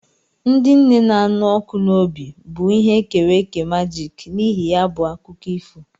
Ndị nne na-anụ ọkụ n'obi bụ ihe e kere eke majiki n'ihi ya bụ akụkọ ifo.